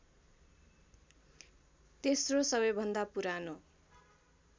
तेस्रो सबैभन्दा पुरानो